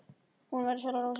Hún verður sjálf að róa sig.